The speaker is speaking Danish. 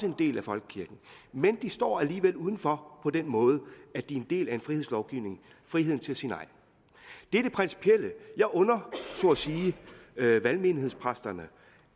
en del af folkekirken men de står alligevel udenfor på den måde at de er en del af en frihedslovgivning friheden til at sige nej det er det principielle jeg under valgmenighedspræsterne